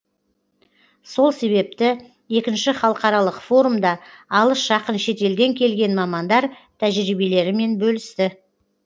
сол себепті екінші халықаралық форумда алыс жақын шетелден келген мамандар тәжірибелерімен бөлісті